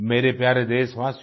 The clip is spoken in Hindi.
मेरे प्यारे देशवासियो